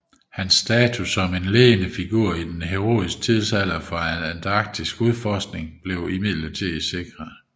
Hans status som en ledende figur i den heroiske tidsalder for antarktiskudforskning blev imidlertid sikret